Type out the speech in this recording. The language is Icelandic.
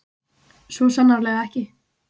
Svo sannarlega ekki.